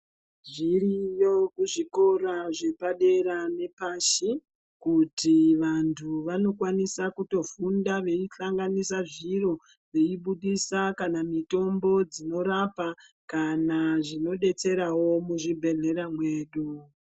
Zviriyo kuzvikora zvepadera nepashi kuti vantu vanokwanisa kutofunda veihlanganisa zviro veibudisa kana mitombo dzinorapa kana zvinodetserawo muzvibhehlera mwedu.